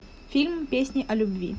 фильм песни о любви